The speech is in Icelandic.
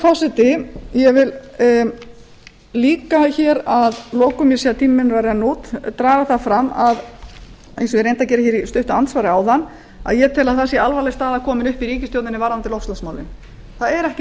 forseti ég vil að lokum benda á eins og ég reyndi að gera í stuttu andsvari áðan að alvarleg staða er komin upp í ríkisstjórninni varðandi loftslagsmálin það er ekki